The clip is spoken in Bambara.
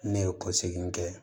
Ne ye ko segin kɛ